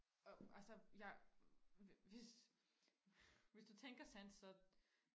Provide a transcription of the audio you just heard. og altså jeg hvis hvis du tænker sådan så